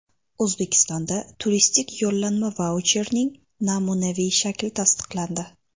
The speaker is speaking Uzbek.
O‘zbekistonda turistik yo‘llanma vaucherning namunaviy shakli tasdiqlandi.